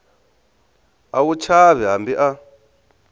a wu chavi hambi a